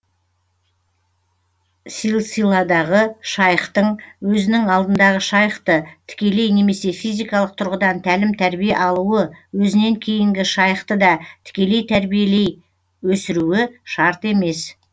силсиладағы шайхтың өзінің алдындағы шайхты тікелей немесе физикалық тұрғыдан тәлім тәрбие алуы өзінен кейінгі шайхты да тікелей тәрбиелей өсіруі шарт емес